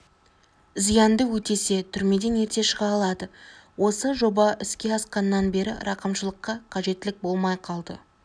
зиянды өтесе түрмеден ерте шыға алады осы жоба іске асқаннан бері рақымшылыққа қажеттілік болмай қалды